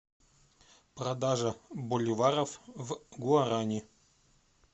продажа боливаров в гуарани